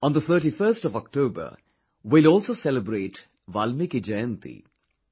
On the 31st of October we will also celebrate 'Valmiki Jayanti'